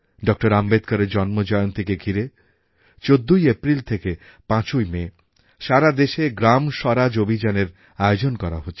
doctor আম্বেডকরের জন্মজয়ন্তীকে ঘিরে ১৪ই এপ্রিল থেকে ৫ই মে সারা দেশে গ্রাম স্বরাজ অভিযানএর আয়োজন করা হচ্ছে